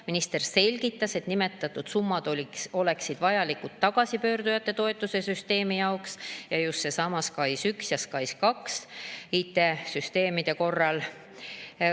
Minister selgitas, et nimetatud summad oleksid vajalikud tagasipöörduja toetuse süsteemi jaoks ning just SKAIS1 ja SKAIS2 IT‑süsteemide korral.